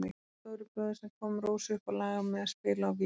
Halldór stóribróðir sem kom Rósu upp á lag með að spila á gítar.